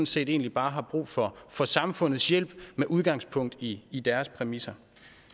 set egentlig bare har brug for for samfundets hjælp med udgangspunkt i i deres præmisser